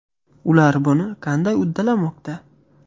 Ular buni qandy uddalamoqda?